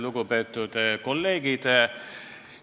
Lugupeetud kolleegid!